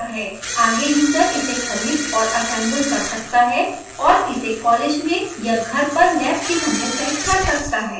आगे यूज़र इसे खरीद और असेम्बल कर सकता है और इसे कॉलेज में या घर पर लैब कि तरह सेट कर सकता है